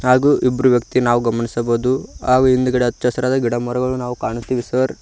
ಹಾಗೂ ಇಬ್ರು ವ್ಯಕ್ತಿ ನಾವ್ ಗಮನಿಸಬಹುದು ಹಾಗೂ ಹಿಂದ್ಗಡೆ ಹಚ್ಚ ಹಸಿರಾದ ಗಿಡ ಮರಗಳು ನಾವ್ ಕಾಣುತ್ತಿವೆ ಸರ್ .